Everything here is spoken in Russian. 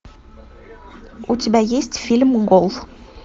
у тебя есть фильм гол